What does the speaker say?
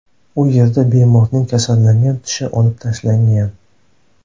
U yerda bemorning kasallangan tishi olib tashlangan.